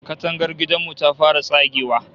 Katangar gidan mu ta fara tsagewa